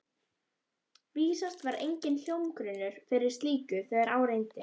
Vísast var enginn hljómgrunnur fyrir slíku, þegar á reyndi.